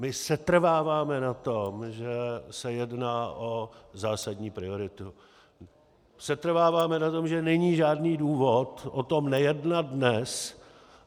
My setrváváme na tom, že se jedná o zásadní prioritu, setrváváme na tom, že není žádný důvod o tom nejednat dnes.